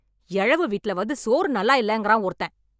எழவு வீட்ல வந்து சோறு நல்லா இல்லங்கறான் ஒருத்தன்.